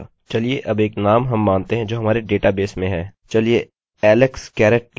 हम यहाँ दर्शाया रहे हैं alex garrett was bron blah blah blah and is male